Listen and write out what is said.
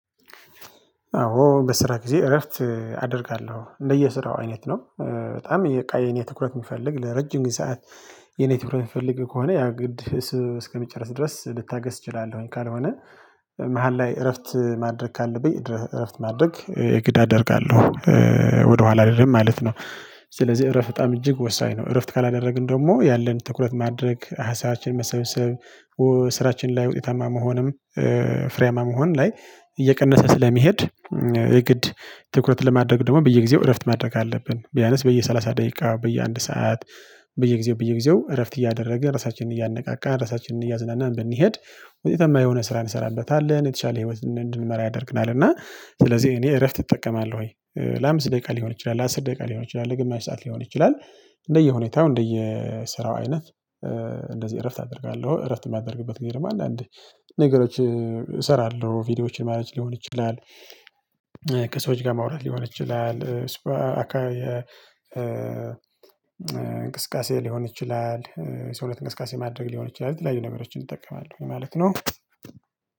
አዎ በስራ ጊዜ እረፍት አደርጋለሁ እንደየስራው አይነት ነው። በጣም የኔ ትኩረት የሚፈልግ ለረጅም ጊዜ ሰዓት። የኔ ትኩረት የሚፈልግ ከሆነ ያ ግድ እስከሚጨርስ ድረስ ልታገስ እችላለሁኝ ካልሆነ መሃል ላይ እረፍት ማድረግ ካለብኝ እረፍት ማድረግ የግድ አደርጋለሁ። ወደኋላ አልልም ማለት ነው። ስለዚህ እረፍ በጣም እጅግ ወሳኝ ነው እረፍት ካላደረግን ደግሞ ያለን ትኩረት ማድረግ ሀሳባችን መሰብሰብ። ስራችን ላይ ውጤታማ መሆንም ፍሬያማ መሆን ላይ እየቀነሰ ስለሚሄድ። የግድ ትኩረት ለማድረግ ደግሞ በየጊዜው እረፍት ማድረግ አለብን። ቢያነስ በየሰላሳ ደቂቃ በየአንድ ሰዓት። በየጊዜው በየጊዜው እረፍት እያደረገ ራሳችንን እያነቃቃ ራሳችንን እያዝናናን ብንሄድ ወይ የተማር የሆነ ስራ እንሰራበታለን የተሻለ ህይወት እንድንመራ ያደርግናል። እና ስለዚህ እኔ እረፍት እጠቀማለሁኝ። ለአምስት ደቂቃ ሊሆን ይችላል አስር ደቂቃ ሊሆን ይችላል ለግማሽ ሰዓት ሊሆን ይችላል። እንደየሁኔታው እንደየስራው ስራው አይነት። እንደዚህ እረፍት አደርጋለሁ እረፍት የሚያደርግበት ጊዜ ነው። አንዳንዴ ነገሮች እሰራለሁ ቪዲዮዎችን ማኔጅ ሊሆን ይችላል። ከሰዎች ጋር ማውራት ሊሆን ይችላል እሱ። እንቅስቃሴ ሊሆን ይችላል ሰውነት እንቅስቃሴ ማድረግ ሊሆን ይችላል የተለያዩ ነገሮችን እጠቀማለሁ ማለት ነው።